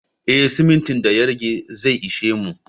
Eh simintin da ya rage zai ishe mu